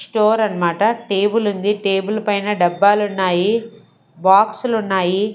Store అన్నమాట table ఉంది table పైన డబ్బలు ఉన్నాయి బాక్స్ లు ఉన్నాయి.